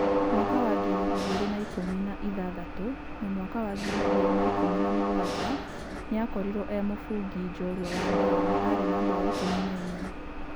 Mwaka wa ngiri igĩrĩ na ikũmi na ithathatũ na mwaka wa ngiri igĩri na ikũmi na mugwaja ni akoriro e mũbũngi njorua wa mbao na arĩ na mbao ikũmi na inya.